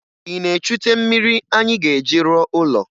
Ị na-echute mmiri anyị ga-eji rụọ ụlọ?